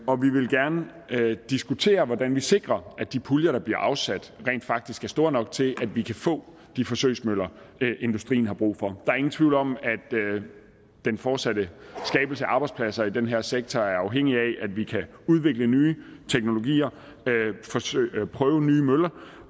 og vi vil gerne diskutere hvordan vi sikrer at de puljer der bliver afsat rent faktisk er store nok til at vi kan få de forsøgsmøller industrien har brug for der er ingen tvivl om at den fortsatte skabelse af arbejdspladser i den her sektor er afhængig af at vi kan udvikle nye teknologier prøve nye møller